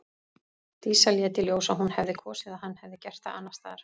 Dísa lét í ljós að hún hefði kosið að hann hefði gert það annars staðar.